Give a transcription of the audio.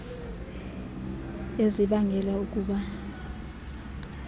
ezibangele uku ba